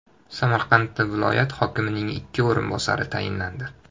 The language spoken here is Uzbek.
Samarqandda viloyat hokimining ikki o‘rinbosari tayinlandi.